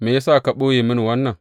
Me ya sa ya ɓoye mini wannan?